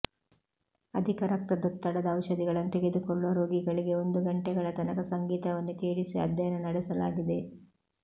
ಅಧಿಕ ರಕ್ತದೊತ್ತಡದ ಔಷಧಿಗಳನ್ನು ತೆಗೆದುಕೊಳ್ಳುವ ರೋಗಿಗಳಿಗೆ ಒಂದು ಗಂಟೆಗಳ ತನಕ ಸಂಗೀತವನ್ನು ಕೇಳಿಸಿ ಅಧ್ಯಯನ ನಡೆಸಲಾಗಿದೆ